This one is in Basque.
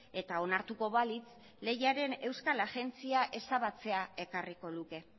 eta onartuko balitz lehiaren euskal agentzia ezabatzea ekarriko luke